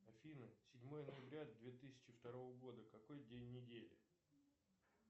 афина седьмое ноября две тысячи второго года какой день недели